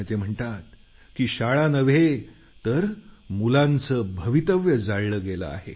ते म्हणतात की शाळा नव्हे तर मुलांचं भवितव्य जाळलं गेलं आहे